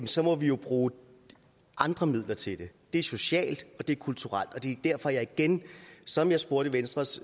så må vi jo bruge andre midler til det det er socialt og det er kulturelt det er derfor at jeg igen som jeg spurgte venstres